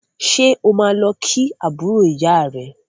Ṣé o máa lọ kí àbúrò ìyá rẹ